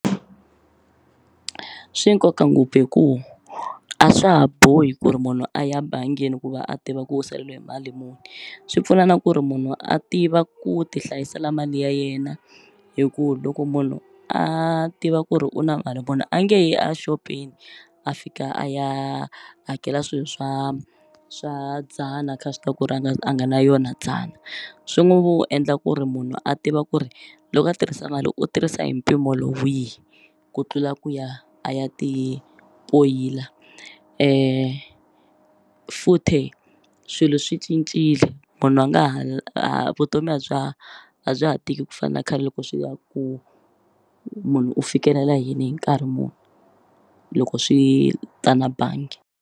Swi nkoka ngopfu hi ku a swa ha bohi ku ri munhu a ya bangini ku va a tiva ku u saleliwe hi mali muni swi pfuna na ku ri munhu a tiva ku ti hlayisela mali ya yena hi ku loko munhu a tiva ku ri u na mali munhu a nge yi a xopeni a fika a ya hakela swilo swa swa dzana kha swi tiva ku ri a nga a nga na yona dzana swi n'wu vu endla ku ri munhu a tiva ku ri loko a tirhisa mali u tirhisa hi mpimo lo wihi ku tlula ku ya a ya ti tloyila futhe swilo swi cincile munhu a nga ha vutomi a bya a bya ha tiki ku fana na khale loko swi ya ku munhu u fikelela yini hi nkarhi muni loko swi ta na bangi.